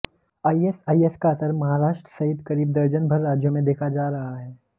ISIS का असर महाराष्ट्र सहित करीब दर्जन भर राज्यों में देखा जा रहा है